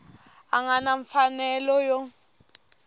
a nga na mfanelo yo